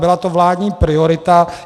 Byla to vládní priorita.